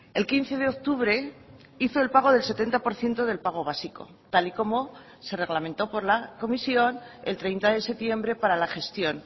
el quince de octubre hizo el pago del setenta por ciento del pago básico tal y como se reglamentó por la comisión el treinta de septiembre para la gestión